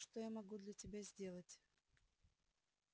что я могу для тебя сделать